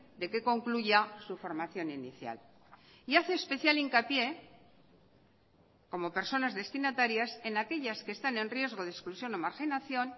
de que concluya su formación inicial y hace especial hincapié como personas destinatarias en aquellas que están en riesgo de exclusión o marginación